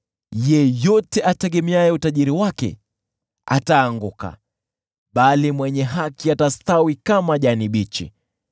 Yeyote ategemeaye utajiri wake ataanguka, bali mwenye haki atastawi kama jani bichi.